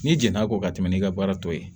N'i jɛn'a kɔ ka tɛmɛ n'i ka baara tɔ ye